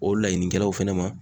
O laɲinikɛlaw fɛnɛ ma